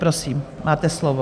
Prosím, máte slovo.